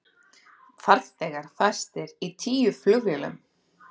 Farþegar fastir í tíu flugvélum